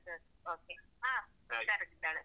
ಸರಿ okay ಹ ಹುಷಾರಾಗಿದ್ದಾಳೆ.